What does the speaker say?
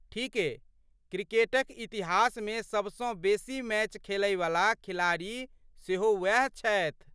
ठीके, क्रिकेटक इतिहासमे सबसँ बेसी मैच खैलयवला खिलाड़ी सेहो वैह छथि।